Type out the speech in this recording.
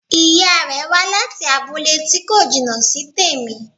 Ìya rẹ̀ wá láti abúlé tí kò jìnà sí tèmi